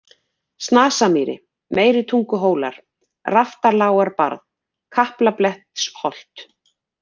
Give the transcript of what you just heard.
Snasamýri, Meiritunguhólar, Raftalágarbarð, Kaplablettsholt